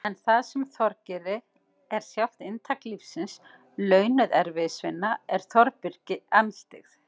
En það sem Þorgeiri er sjálft inntak lífsins- launuð erfiðisvinna- er Þórbergi andstyggð.